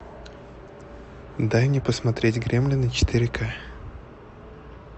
дай мне посмотреть гремлины четыре ка